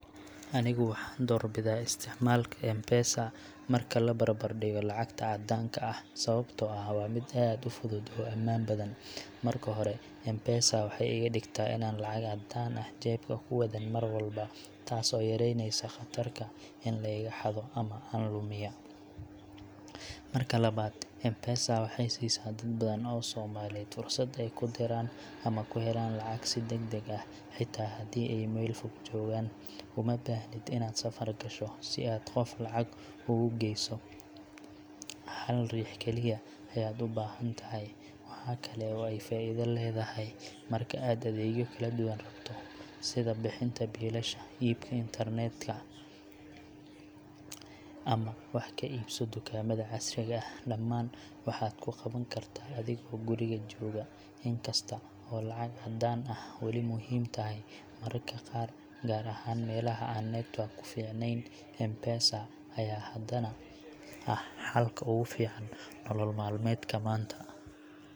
Anigu waxaan doorbidaa isticmaalka M-Pesa marka la barbardhigo lacagta caddaanka ah, sababtoo ah waa mid aad u fudud oo ammaan badan. Marka hore, M-Pesa waxay iga dhigtaa inaanan lacag caddaan ah jeebka ku wadan mar walba, taas oo yareynaysa khatarta in la iga xado ama aan lumiya. Marka labaad, M-Pesa waxay siisaa dad badan oo Soomaaliyeed fursad ay ku diraan ama ku helaan lacag si degdeg ah, xitaa haddii ay meel fog joogaan. Uma baahnid inaad safar gasho si aad qof lacag ugu geyso, hal riix kaliya ayaad u baahan tahay. Waxa kale oo ay faa’iido leedahay marka aad adeegyo kala duwan rabto sida bixinta biilasha, iibka internet ka, ama wax ka iibso dukaamada casriga ah dhammaan waxaad ku qaban kartaa adigoo guriga jooga. Inkasta oo lacag caddaan ah weli muhiim tahay mararka qaar, gaar ahaan meelaha aan network ku fiicanayn, M-Pesa ayaa haddana ah xalka ugu fiican nolol maalmeedka maanta.